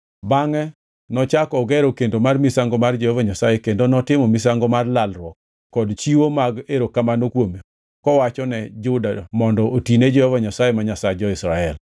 Bangʼe nochako ogero kendo mar misango mar Jehova Nyasaye kendo notimo misango mar lalruok kod chiwo mag erokamano kuome kowachone Juda mondo otine Jehova Nyasaye, ma Nyasach jo-Israel.